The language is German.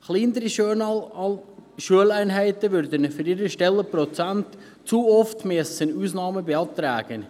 Kleine Schuleinheiten müssten für ihre Stellenprozente zu oft Ausnahmen beantragen.